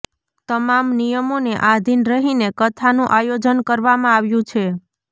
તમામ નિયમોને આધીન રહીને કથાનું આયોજન કરવામાં આવ્યું છે